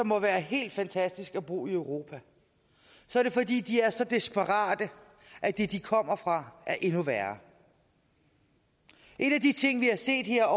må være helt fantastisk at bo i europa så er det fordi de er så desperate at det de kommer fra er endnu værre en af de ting vi har set her